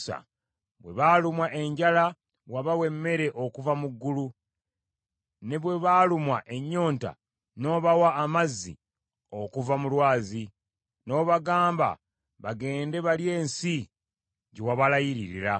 Bwe baalumwa enjala wabawa emmere okuva mu ggulu, ne bwe baalumwa ennyonta n’obawa amazzi okuva mu lwazi; n’obagamba bagende balye ensi gye wabalayiririra.